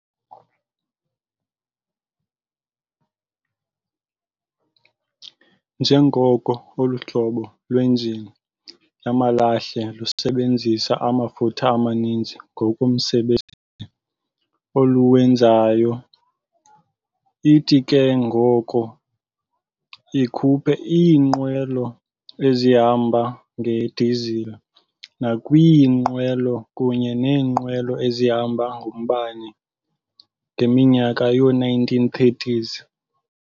Njengoko olu hlobo lwenjini yamalahle lusebenzisa amafutha amaninzi ngomsebenzi oluwenzayo, ithi ke ngoko ikhuphe iinqwelo ezihamba nge-disile nakwiinqwelo kunye nee-nqwelo ezihamba ngombane, ngeminyaka yoo-1930s.